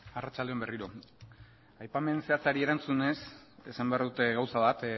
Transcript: arratsalde on berriro aipamen zehatzari erantzunez esan behar dut gauza bat